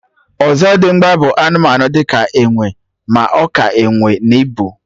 Ọzọdimgba bụ anụmanụ di ka enwe, ma ọ ka enwe n'ibu